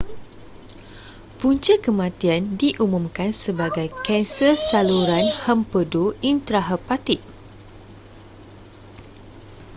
punca kematian diumumkan sebagai kanser saluran hempedu intrahepatik